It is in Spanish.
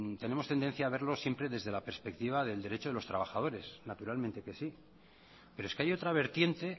tenemos tendencia a verlo siempre desde la perspectiva del derecho de los trabajadores naturalmente que sí pero es que hay otra vertiente